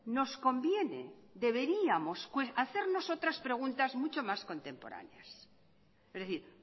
nos conviene deberíamos hacernos otras preguntas mucho más contemporáneas es decir